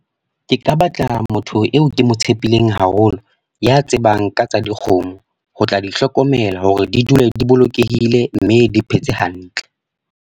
Ke ka batla motho eo ke mo tshepileng haholo. Ya tsebang ka tsa dikgomo. Ho tla di hlokomela hore di dule di bolokehile, mme di phetse hantle.